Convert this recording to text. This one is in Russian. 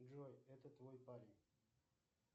джой это твой парень